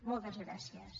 moltes gràcies